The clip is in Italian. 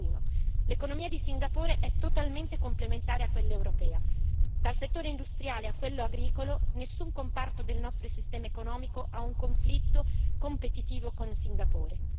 Nessuno, l'economia di Singapore è totalmente complementare a quella europea dal settore industriale a quello agricolo, nessun comparto del nostro sistema economico è in conflitto competitivo con Singapore.